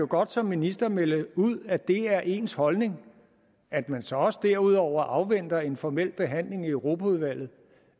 godt som minister melde ud at det er ens holdning at man så også derudover afventer en formel behandling i europaudvalget